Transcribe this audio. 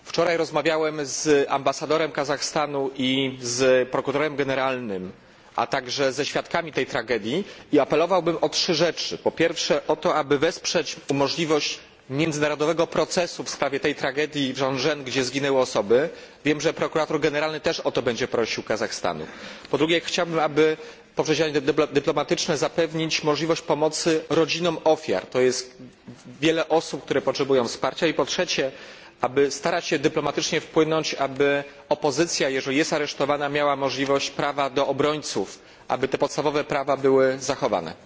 Wczoraj rozmawiałem z ambasadorem Kazachstanu i z prokuratorem generalnym, a także ze świadkami tej tragedii i apelowałbym o trzy rzeczy po pierwsze o to, aby wesprzeć możliwość międzynarodowego procesu w sprawie tej tragedii w Żanaozen, gdzie zginęli ludzie. Wiem, że prokurator generalny Kazachstanu też będzie o to prosił. Po drugie chciałbym, aby poprzez działania dyplomatyczne zapewnić możliwość pomocy rodzinom ofiar. Wiele osób potrzebuje wsparcia. I po trzecie, aby starać się dyplomatycznie wpłynąć na to, by opozycja, jeżeli jest aresztowana, miała prawo do obrońców, aby te podstawowe prawa były zachowane.